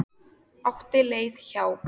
Átti leið hjá.